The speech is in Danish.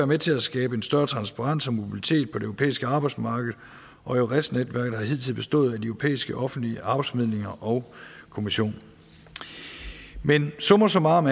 med til at skabe en større transparens og mobilitet på det europæiske arbejdsmarked og eures netværket har hidtil bestået af de europæiske offentlige arbejdsformidlinger og kommissionen men summa summarum